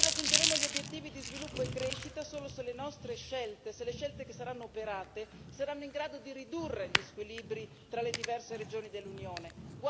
Noi raggiungeremo gli obiettivi di sviluppo e crescita solo se le nostre scelte, se le scelte che saranno operate, saranno in grado di ridurre gli squilibri tra le diverse regioni dell'Unione.